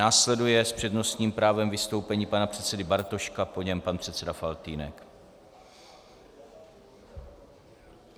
Následuje s přednostním právem vystoupení pana předsedy Bartoška, po něm pan předseda Faltýnek.